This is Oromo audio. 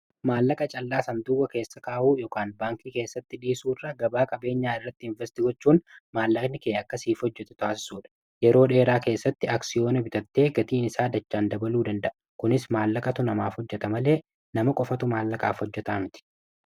maallaqa callaasanduuwa keessa kaa'uu baankii keessatti dhiisuu irra gabaa qabeenyaa irratti investigochuun maallakni ke akka siif hojjatu taasisuu dha yeroo dheeraa keessatti aksiyoona bitatte gatiin isaa dachaan dabaluu danda'a kunis maallaqa tu namaaf hojjata malee nama qofatu maallaqaaf hojjataa miti